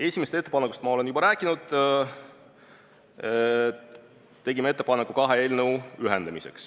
Esimesest ettepanekust olen ma juba rääkinud: tegime ettepaneku kaks eelnõu ühendada.